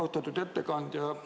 Austatud ettekandja!